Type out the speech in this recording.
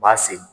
U b'a sen